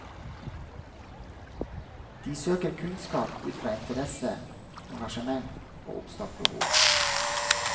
De søker kunnskap ut fra interesse, engasjement og oppstått behov.